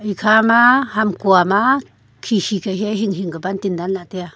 ekhama hamkha ma khikhi ka hiya hinghing ka buntin danlah e taiya.